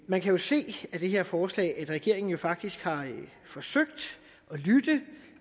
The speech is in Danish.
man kan jo se af det her forslag at regeringen faktisk har forsøgt at lytte